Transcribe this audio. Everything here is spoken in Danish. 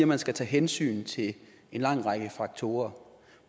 man skal tage hensyn til en lang række faktorer